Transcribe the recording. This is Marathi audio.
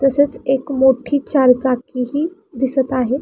तसेच एक मोठी चारचाकी ही दिसत आहे.